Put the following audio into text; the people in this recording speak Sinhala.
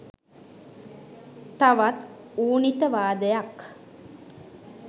තවත් ඌනිතවාදයක්